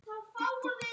Það er hvíta aldan.